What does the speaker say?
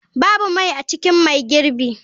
Babu mai a cikin mai girbi.